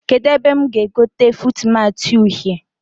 Kedụ ebe mụ ga-egote fuutmatị uhie?